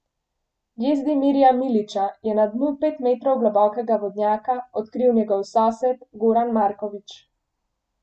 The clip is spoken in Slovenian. Jezdimirja Milića je na dnu pet metrov globokega vodnjaka odkril njegov sosed Goran Marković.